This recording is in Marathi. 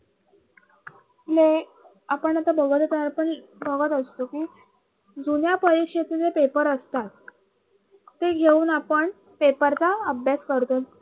कि हे आपण आता बहुरता पण बहुमत असतो कि जुन्या परीक्षेचे जे paper असतात ते घेऊन आपण paper चा अभ्यास करतो